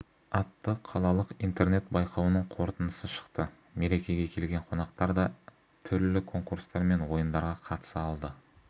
атты қалалық интернет-байқауының қорытындысы шықты мерекеге келген қонақтар да түрлі конкурстар мен ойындарға қатыса алды